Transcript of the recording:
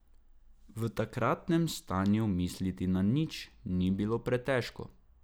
V takratnem stanju misliti na nič ni bilo pretežko.